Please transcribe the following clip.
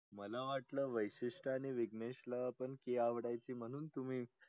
मला वाटलं विशिष्ट आणि विघणेश ला पण ती आवडायची ना म्हणून तुम्ही